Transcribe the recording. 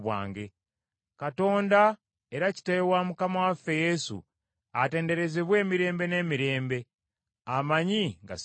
Katonda, era Kitaawe wa Mukama waffe Yesu, atenderezebwa emirembe n’emirembe, amanyi nga ssirimba.